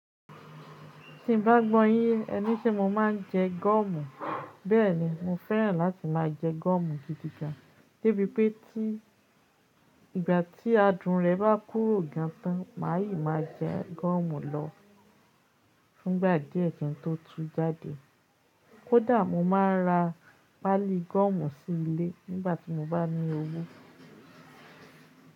Tí n bá gbọ́ yín yé, ẹ ní ṣé mo máa ń jẹ gọ́ọ̀mù? Bẹ́ẹ̀ ni, mo fẹ́ràn láti máa jẹ gọ́ọ̀mù gidigan. Débi pé tí ìgbà tí adùn rẹ̀ bá kúrò gan tán, màá yìí máa jẹ gọ́ọ̀mù lọ fúngbà díẹ̀ kí n tó tú jáde. Ó dàá mo máa ra pálí gọ́ọ̀mù sí ilé nígbà tí mo bá ní owó.